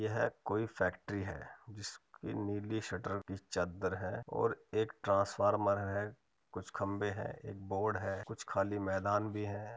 यह कोई फैक्ट्री है जिसकी नीली शटर की चद्दर है और एक ट्रांसफॉर्म है। कुछ खंबे हैं। एक बोर्ड है। कुछ खाली मैदान भी है।